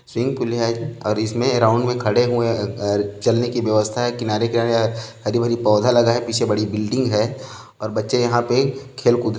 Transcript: swig pool हैऔर इसमें round में खड़े हुए अ अ चलने की व्यवस्था है किनारे-किनारे हरी-भरी पौधा लगा है पीछे बड़ी बिल्डिग है और बच्चे यहाँ पे खेल कूद--